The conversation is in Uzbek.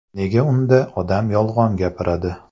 Nega unda odam yolg‘on gapiradi?